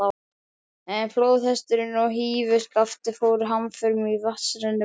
Flóðhesturinn og hrífuskaftið fóru hamförum í vatnsrennibrautinni.